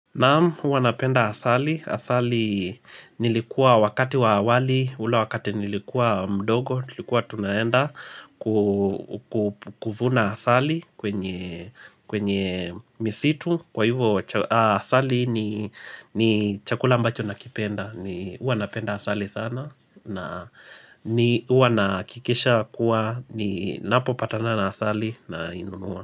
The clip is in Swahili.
Naam huwa napenda asali, asali nilikuwa wakati wa awali, ule wakati nilikuwa mdogo, tulikuwa tunaenda kuvuna asali kwenye kwenye misitu, kwa hivyo asali ni chakula ambacho nakipenda, ni huwa napenda asali sana na huwa nahakikisha kuwa, ninapopatana na asali nainunua.